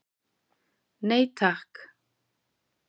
Nei takk.